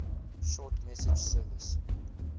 short message service